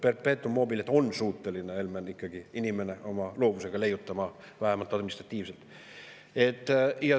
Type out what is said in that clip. Perpetuum mobile't on inimene ikkagi suuteline oma loovusega leiutama, vähemalt administratiivselt.